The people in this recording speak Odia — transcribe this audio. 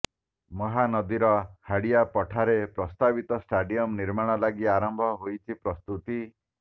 ମହାନଦୀର ହାଡିଆ ପଠାରେ ପ୍ରସ୍ତାବିତ ଷ୍ଟାଡିୟମ ନିର୍ମାଣ ଲାଗି ଆରମ୍ଭ ହୋଇଛି ପ୍ରସ୍ତୁତି